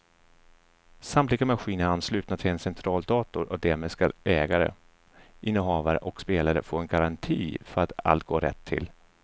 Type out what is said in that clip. Samtliga maskiner är anslutna till en centraldator och därmed ska ägare, innehavare och spelare få en garanti för att allt går rätt till.